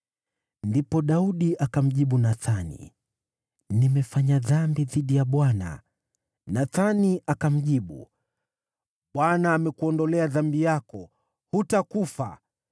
Ndipo Daudi akamjibu Nathani, “Nimefanya dhambi dhidi ya Bwana .” Nathani akamjibu, “ Bwana amekuondolea dhambi yako. Hutakufa.